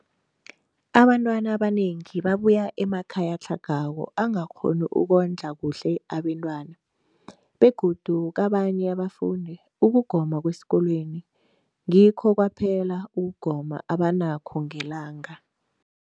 Abantwana abanengi babuya emakhaya atlhagako angakghoni ukondla kuhle abentwana, begodu kabanye abafundi, ukugoma kwesikolweni ngikho kwaphela ukugoma abanakho ngelanga.